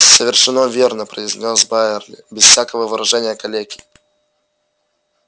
совершенно верно произнёс байерли без всякого выражения калеки